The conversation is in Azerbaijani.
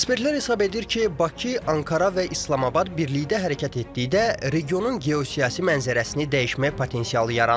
Ekspertlər hesab edir ki, Bakı, Ankara və İslamabad birlikdə hərəkət etdikcə regionun geosiyasi mənzərəsini dəyişmək potensialı yaranır.